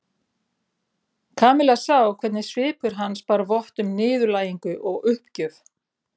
Kamilla sá hvernig svipur hans bar vott um niðurlægingu og uppgjöf.